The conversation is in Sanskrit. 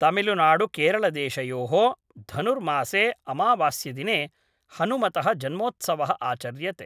तमिलनाडुकेरलदेशयोः. धनुर्मासे अमावस्यादिने हनुमतः जन्मोत्सवः आचर्यते